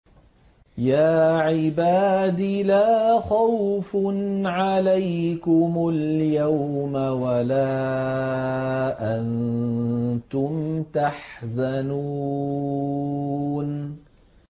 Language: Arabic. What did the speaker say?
يَا عِبَادِ لَا خَوْفٌ عَلَيْكُمُ الْيَوْمَ وَلَا أَنتُمْ تَحْزَنُونَ